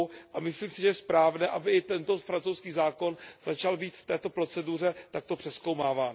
a myslím si, že je správné, aby i tento francouzský zákon začal být v této proceduře takto přezkoumáván.